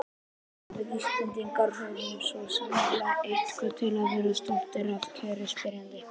Já, við Íslendingar höfum svo sannarlega eitthvað til að vera stoltir af, kæri spyrjandi.